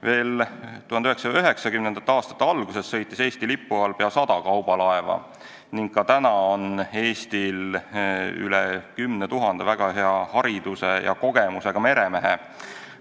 Veel 1990. aastate alguses sõitis Eesti lipu all pea sada kaubalaeva ning ka praegu on Eestil rohkem kui 10 000 väga hea haridusega ja kogenud meremeest.